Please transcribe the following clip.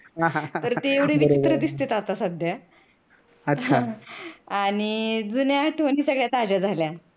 ते एवढे विचित्र दिसतेत आता सध्या आणि जुन्या आठवणी सगळ्या ताज्या झाल्या.